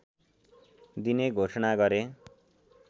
दिने घोषणा गरे